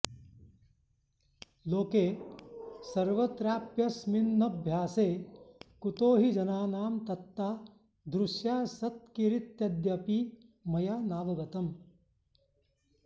लोके सर्वत्राप्यस्मिन्नभ्यासे कुतो हि जनानां तत्तादृश्यासक्तिरित्यद्यापि मया नावगतम्